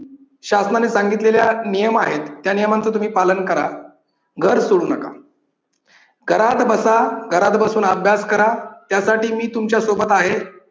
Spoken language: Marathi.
शासनाने सांगितलेल्या नियम आहेत त्या नियमांचे पालन करा. घर सोडू नका. घरात बसून अभ्यास करा त्यासाठी मी तुमच्यासोबत आहे.